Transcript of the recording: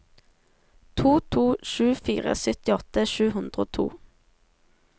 to to sju fire syttiåtte sju hundre og to